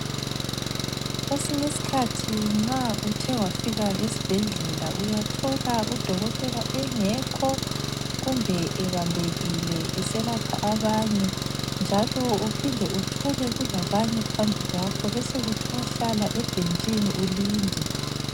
Kwesinye isikhathi nxa uthe wafika esibhedlela uyathola udokotela engekho kumbe ebambekile, eselapha abanye njalo uphinde uthole kulabanye phambi kwakho besekuthwa hlala ebhentshini ulinde.